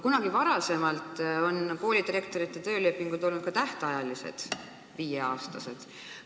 Kunagi varem on koolidirektorite töölepingud olnud ka tähtajalised, viie aasta pikkused.